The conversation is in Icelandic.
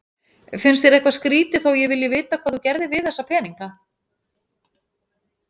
Finnst þér eitthvað skrýtið þó að ég vilji vita hvað þú gerðir við þessa peninga?